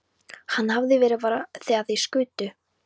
Hann hefði bara verið fyrir þegar þeir skutu.